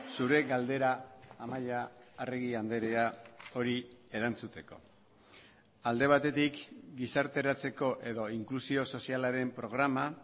zure galdera amaia arregi andrea hori erantzuteko alde batetik gizarteratzeko edo inklusio sozialaren programa